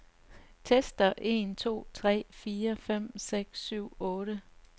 Tester en to tre fire fem seks syv otte.